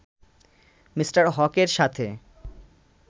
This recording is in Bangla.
মি. হকের সাথে